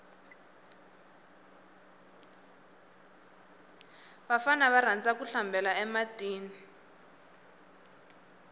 vafana va rhandza ku hlambela e matini